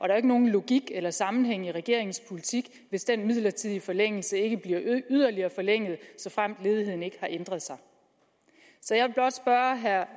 jo ikke nogen logik eller sammenhæng i regeringens politik hvis den midlertidige forlængelse ikke bliver yderligere forlænget såfremt ledigheden ikke har ændret sig så jeg vil blot spørge herre